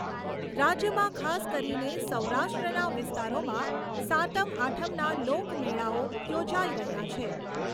રાજ્યમાં ખાસ કરીને સૌરાષ્ટ્રના વિસ્તારોમાં સાતમ આઠમના લોકમેળાઓ યોજાઈ રહ્યા છે.